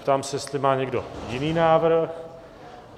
Ptám se, jestli má někdo jiný návrh?